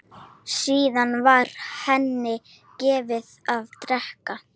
Síðan var henni gefið að drekka.